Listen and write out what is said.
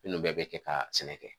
Munnu bɛɛ be kɛ ka sɛnɛ kɛ.